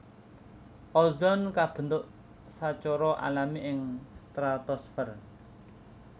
Ozon kabentuk sacara alami ing stratosfer